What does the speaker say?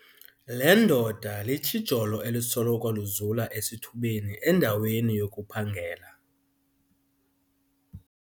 Le ndoda litshijolo elisoloko lizula esithubeni endaweni yokuphangela.